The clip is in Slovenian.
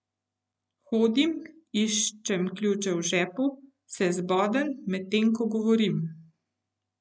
Hodim, iščem ključe v žepu, se zbodem, medtem ko govorim.